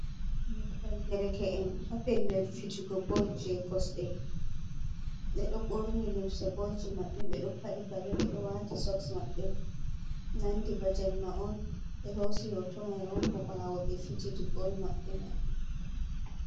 Mufgal derke en ha pellel fijugo bol je kosɗe ɓeɗo ɓorni limse bolji maɓɓe, ɓeɗo paɗi paɗe ɓeɗo wati soks maɓɓe, nandi ba jemma on ɓe hosi hoto mai on bo ɓawo ɓe fijidi bol maɓɓe mai.